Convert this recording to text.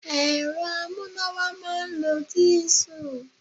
Ẹ̀rọ amúnáwá máa ń lo dìísù.